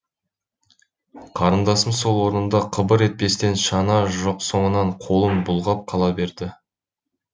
қарындасым сол орнында қыбыр етпестен шана жоқ соңынан қолын бұлғап қала берді